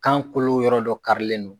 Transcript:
Kan kolo yɔrɔ dɔ karilen don.